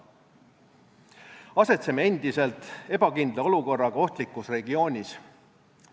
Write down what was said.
Asetseme endiselt ebakindla olukorraga ohtlikus regioonis.